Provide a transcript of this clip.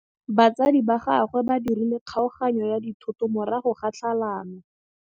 Batsadi ba gagwe ba dirile kgaoganyô ya dithoto morago ga tlhalanô.